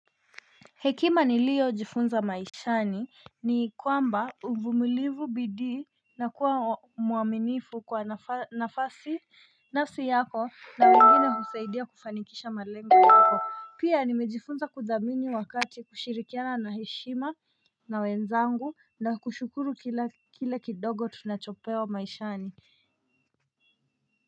Hekima nilio jifunza maishani ni kwamba uvumilivu bidii na kuwa mwaminifu kwa nafasi nafsi yako na wengine husaidia kufanikisha malengo yako Pia nimejifunza kudhamini wakati kushirikiana na heshima na wenzangu nakushukuru kile kidogo tunachopewa maishani.